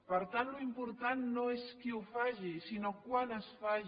per tant l’important no és qui ho faci sinó quan es faci